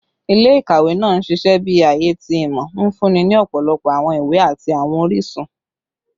Ile-ikawe naa n ṣiṣẹ bi aaye ti imọ, nfunni ni ọpọlọpọ awọn iwe ati awọn orisun